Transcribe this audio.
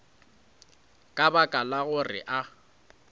ka baka la gore a